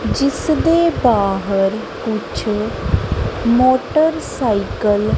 ਜਿਸ ਦੇ ਬਾਹਰ ਕੁਛ ਮੋਟਰ ਸਾਈਕਲ --